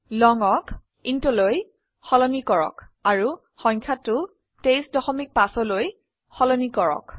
longক intলৈ সলনি কৰক আৰু সংখ্যাটো 235লৈ সলনি কৰক